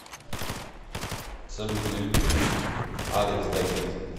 салют на ютубе алекс да кид